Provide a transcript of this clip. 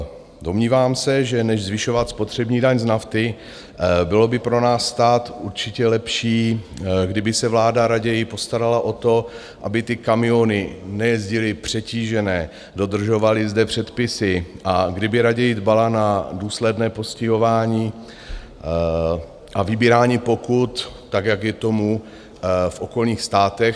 Domnívám se, že než zvyšovat spotřební daň z nafty, bylo by pro náš stát určitě lepší, kdyby se vláda raději postarala o to, aby ty kamiony nejezdily přetížené, dodržovaly zde předpisy, a kdyby raději dbala na důsledné postihování a vybírání pokut, tak jak je tomu v okolních státech.